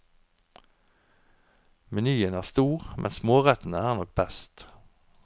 Menyen er stor, men smårettene er nok best.